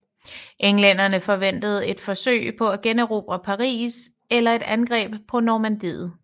Englænderne forventede et forsøg på at generobre Paris eller et angreb på Normandiet